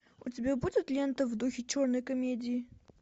у тебя будет лента в духе черной комедии